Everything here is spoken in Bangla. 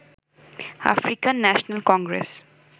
African National Congress